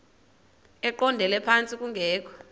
eqondele phantsi kungekho